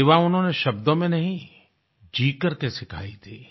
सेवा उन्होंने शब्दों में नहीं जी करके सिखायी थी